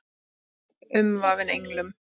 Umvafin englum.